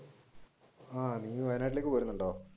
ആഹ് നീ വയനാട്ടിലേക്ക് പോരുന്നുണ്ടോ?